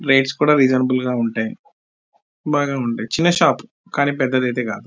Rates కూడా reasonable గ ఉంటాయి బాగా ఉంటాయి చిన్న షాప్ కానీ పెద్దది ఐతే కాదు .